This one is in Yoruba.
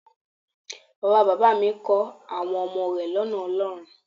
Bàba bàbá à mi kọ́ àwọn ọmọ rẹ̀ lọ́nà Ọlọ́run.